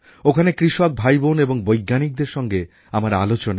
ওখানে কৃষক ভাইবোন এবং বৈজ্ঞানিকদের সঙ্গে আমার আলোচনা